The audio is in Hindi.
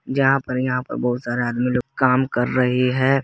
जहां पर यहां पर बहुत सारा आदमी लोग काम कर रहे हैं।